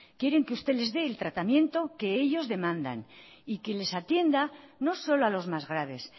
quieren que usted les dé el tratamiento que ellos demandan y que les atienda no solo a los más graves